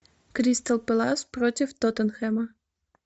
кристал пэлас против тоттенхэма